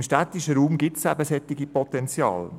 Im städtischen Raum gibt es solche Potenziale.